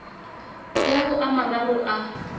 ya ho a mararo a